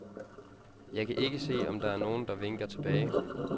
Jeg kan ikke se, om der er nogen, der vinker tilbage.